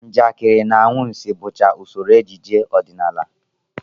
Njakịrị na anwansị bụcha usoro ejije ọdịnala